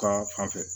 Ka fan fɛ